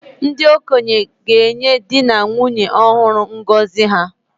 Ndị okenye ga-enye di na nwunye ọhụrụ ngọzi ha